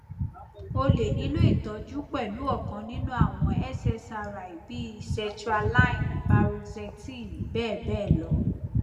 o le nilo itọju pẹlu ọkan ninu awọn ssri bii sertraline paroxetine bẹ́ẹ̀ bẹ́ẹ̀ lọ.